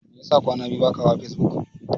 Mai yasa kwana biyu baka hawa facebook?